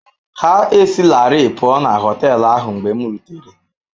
Ha esilarị pụọ na họtel ahụ mgbe m rutere.